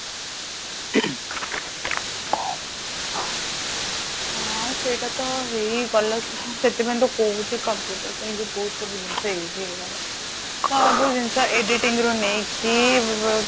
ହଁ ସେଇଟା ତ ସେଥିପାଇଁ ତ କହୁଛି computer ପାଇଁ ବହୁତ କିଛି ଜିନିଷ easy ହେଇଗଲା ସବୁ ଜିନିଷ editing ରୁ ନେଇ କି ବ